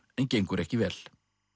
en gengur ekki vel